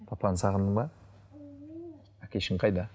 папаны сағындың ба әкешің қайда